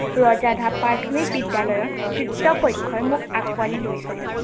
ৰজাধৰা প্ৰথমিক বিদ্য়ালয়ৰ কৃতপক্ষই মোক আঁকোৱালি লৈছিল।